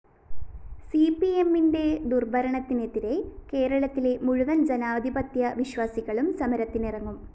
സിപിഎമ്മിന്റെ ദുര്‍ഭരണത്തിനെതിരെ കേരളത്തിലെ മുഴുവന്‍ ജനാധിപത്യ വിശ്വാസികളും സമരത്തിനിറങ്ങും